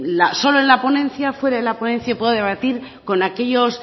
solo en la ponencia fuera de la ponencia puedo debatir con aquellos